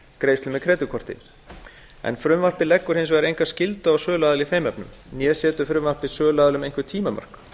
greiðslu með kreditkorti frumvarpið leggur hins vegar enga skyldu á söluaðila í þeim efnum né setur frumvarpið söluaðilum einhver tímamörk